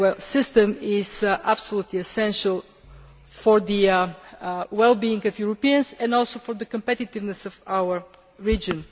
system is absolutely essential for the well being of Europeans and also for the competitiveness of our region.